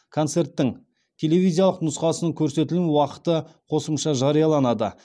концерттің телевизиялық нұсқасының көрсетілім уақыты қосымша жарияланады